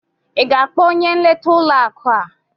Ị ga-akpọ onye nleta ụlọ akụ a?